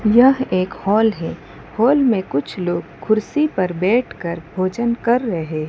यह एक हॉल है हॉल में कुछ लोग कुर्सी पर बैठ कर भोजन कर रहे है।